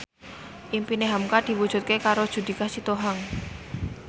impine hamka diwujudke karo Judika Sitohang